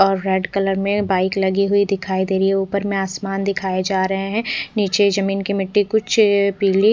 और red colour में bike लगायी हुयी दिखाई दे रही है ऊपर में आसमान दिखाई जा रहे है निचे जमीं की मिट्टी कुछ पिली--